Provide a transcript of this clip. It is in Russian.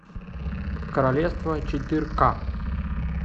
королевство четыре ка